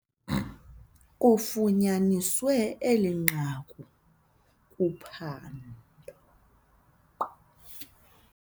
Kufunyaniswe eli nqaku kuphando.